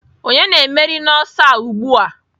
Onye na-emeri n'ọsọ a ugbu a?